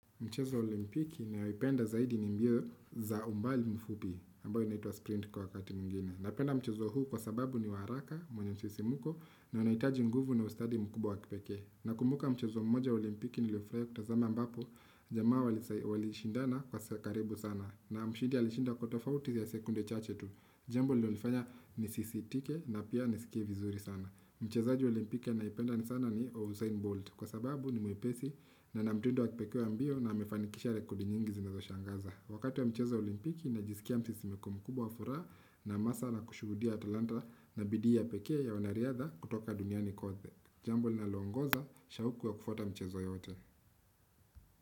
Mchezo olimpiki nayoipenda zaidi ni mbio za umbali mfupi, ambayo inaitwa sprint kwa wakati mwingine. Napenda mchezo huu kwa sababu ni wa haraka, mwenye msisi mko, na unahitaji nguvu na ustadi mkubwa wakipekee. Na kumbuka mchezo mmoja wa olimpiki niliofurahi kutazama ambapo, jamaa walishindana kwa saa karibu sana. Na mshindi alishinda kwa to fauti ya sekunde chache tu. Jambo lililofanya nisisitike na pia nisikie vizuri sana. Mchezaji wa olimpiki anayependa ni sana ni ausain bolt. Kwa sababu ni mwepesi na ana mtindo wa kipekee wa mbio na amefanikisha rekodi nyingi zinazo shangaza Wakati wa mchezo olimpiki na jisikia msisimko mkubwa wa furaha na hamasa na kushuhudia talanta na bidii ya pekee ya wanariadha kutoka duniani kote Jambo na linaloongoza, shahuku ya kufuata mchezo yote.